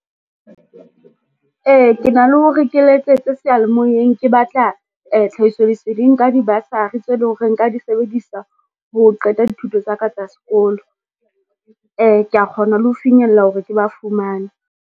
Ee ke na le hore ke letsetse seyalemoyeng ke batla tlhahiso leseding ka di-bursary tse leng hore nka di sebedisa ho qeta dithuto tsa ka tsa sekolo. Kea kgona le ho finyella hore ke ba fumana.